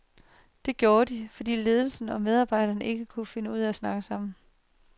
Det gjorde de, fordi ledelse og medarbejdere ikke kunne finde ud af at snakke sammen.